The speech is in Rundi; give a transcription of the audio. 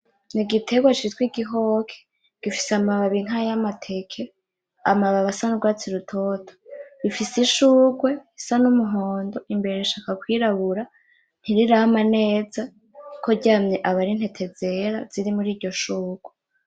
N'igitegwa citwa igihoke gifise amababi nkayamateke amababi asa nugwatsi rutoto. Rifise ishugwe risa n'umuhondo imbere rishaka kwirabura ntirirama neza kuko ryamye aba arintete zera zirimuriryo shugwe.